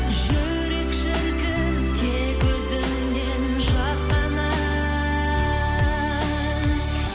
жүрек шіркін тек өзіңнен жасқанар